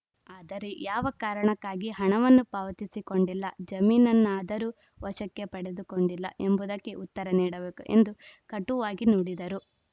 ಅದರೆ ಯಾವ ಕಾರಣಕ್ಕಾಗಿ ಹಣವನ್ನು ಪಾವತಿಸಿಕೊಂಡಿಲ್ಲ ಜಮೀನನ್ನಾದರೂ ವಶಕ್ಕೆ ಪಡೆದುಕೊಂಡಿಲ್ಲ ಎಂಬುದಕ್ಕೆ ಉತ್ತರ ನೀಡಬೇಕು ಎಂದು ಕಟುವಾಗಿ ನುಡಿದರು